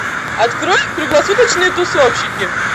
открой круглосуточные тусовщики